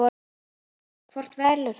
Hvort velur þú?